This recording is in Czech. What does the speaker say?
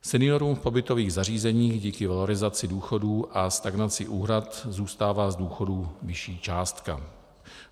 Seniorům v pobytových zařízeních díky valorizaci důchodů a stagnací úhrad zůstává z důchodu vyšší částka.